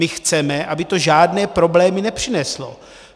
My chceme, aby to žádné problémy nepřineslo.